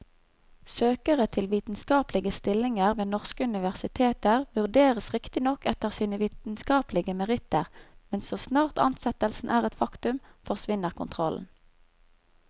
Søkere til vitenskapelige stillinger ved norske universiteter vurderes riktignok etter sine vitenskapelige meritter, men så snart ansettelsen er et faktum, forsvinner kontrollen.